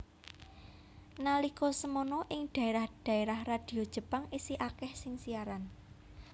Nalika semana ing daérah daérah radio Jepang isih akèh sing siaran